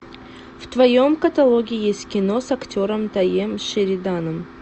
в твоем каталоге есть кино с актером тайем шериданом